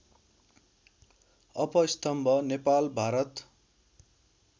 अपस्थम्भ Nepal Bharat